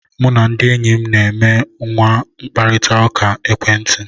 Mụ na ndị enyi m na e nwe mkparịta ụka ekwentị